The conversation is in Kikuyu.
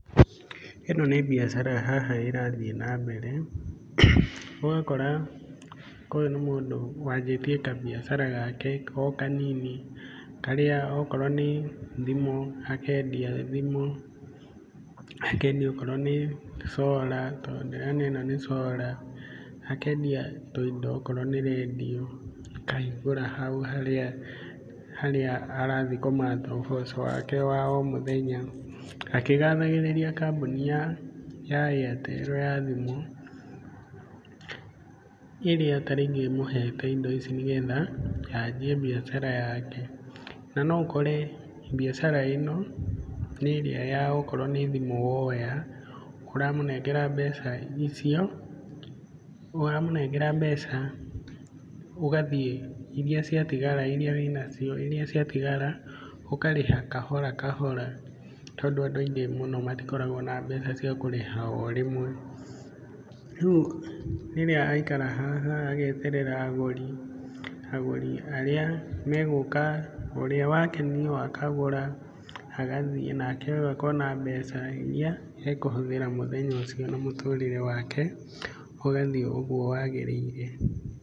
Ĩno nĩ mbiacara haha ĩrathiĩ na mbere ũgakora ũyũ nĩ mũndũ wanjĩtie kambiacara gake o kanini karĩa okorwo nĩ thimũ akendia thimũ akendia okorwo nĩ solar tondũ ndĩrona ĩno nĩ solar. Akendia tũindo okorwo nĩ rendio akahingũra hau harĩa arathiĩ kũmatha ũboco wake wa o mũthenya. Akĩgathagĩrĩria kambuni ya Airtel ya thimũ ĩrĩa tarĩngĩ ĩmũhete indo ici nĩ getha anjie mbiacara yake na no ũkore mbiacara ĩno nĩ ĩrĩa okorwo nĩ thimũ woya, ũramũnengera mbeca icio ũramũnengera mbeca ũgathiĩ iria ciatigara, iria wĩna cio iria ciatigara ũkarĩha kahora kahora. Tondũ andũ aingĩ mũno matkoragwo na mbeca cia kũrĩha orĩmwe. Rĩu rĩrĩa aikara haha ageterera agũri agũri arĩa megũka ũrĩa wakenio akagũra agathiĩ nake ũyũ akona mbeca iria ekũhũthĩra mũthenya ũcio na mũtũrĩre wake ũgathiĩ ũguo wagĩrĩire.